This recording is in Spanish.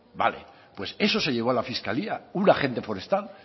vale pues eso se llevó a la fiscalía un agente forestal